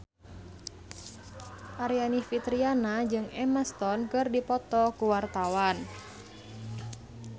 Aryani Fitriana jeung Emma Stone keur dipoto ku wartawan